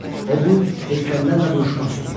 O bu heykəllərlə vuruşmaq istəyir.